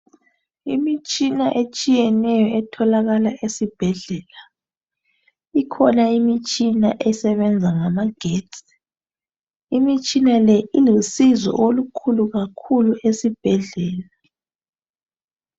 Imitshina etshiyeneyo etholakala esibhedlela. Ikhona imitshina esebenza ngamagetsi. Imitshina Le ilusizo olukhulu kakhulu esibhedlela.